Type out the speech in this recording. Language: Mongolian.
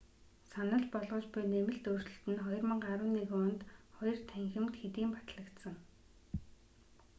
санал болгож буй нэмэлт өөрчлөлт нь 2011 онд хоёр танхимд хэдийн батлагдсан